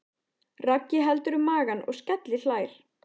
Raggi heldur um magann og skelli hlær.